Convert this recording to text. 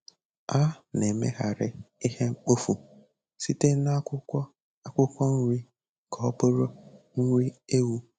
A-na emeghari ihe mkpofu sitere na akwụkwọ akwụkwọ nri ka ọbụrụ nri ewu.